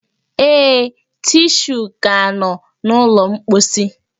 Ee, tishuu ka nọ n'ụlọ mposi